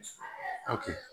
Aw kɛ